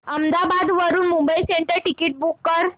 अहमदाबाद वरून Mumbai central ticket book कर